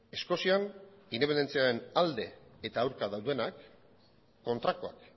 eskozian independentziaren alde eta aurka daudenak kontrakoak